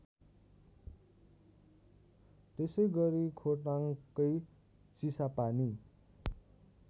त्यसैगरी खोटाङकै चिसापानी